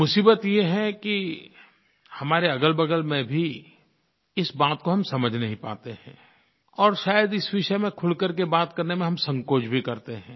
मुसीबत ये है कि हमारे अगलबगल में भी इस बात को हम समझ नहीं पाते हैं और शायद इस विषय में खुल कर के बात करने में हम संकोच भी करते हैं